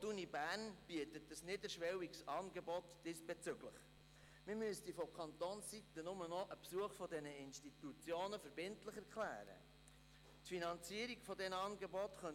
Auch an der Universität Bern gibt es ein diesbezügliches niederschwelliges Angebot.